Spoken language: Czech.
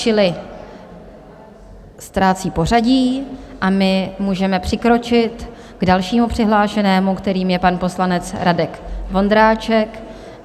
Čili ztrácí pořadí, a my můžeme přikročit k dalšímu přihlášenému, kterým je pan poslanec Radek Vondráček.